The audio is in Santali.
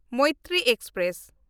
ᱢᱚᱭᱛᱨᱤ ᱮᱠᱥᱯᱨᱮᱥ